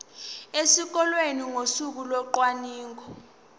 esikoleni ngosuku locwaningo